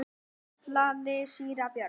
kallaði síra Björn.